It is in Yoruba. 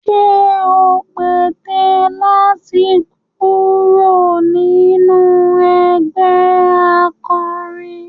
Ṣé ò ń pète láti kúrò nínú ẹgbẹh akọrin?